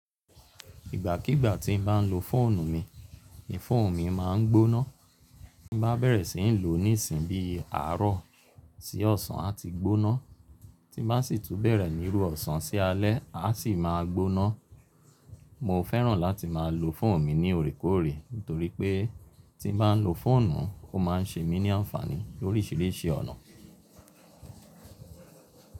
Ìgbàkígbà tí n bá n lo fóònù mi, ìfóònù mi ma ń gbóná. Tí bá bẹ̀rẹ̀ sí ń lò ó ní ìsìn bí i àárọ̀ sí ọ̀sán, a ti gbóná. Tí bá sì tún bẹ̀rẹ̀ ní irú ọ̀sán sí alẹ́, a sì máa gbóná. Mo fẹ́ràn láti máa lo fóònù mi ní òrékòóre, nítorí pé tí n bá lo fóònù, ó máa ń ṣe mí ní ànfàní lórísìírísìí ọ̀nà.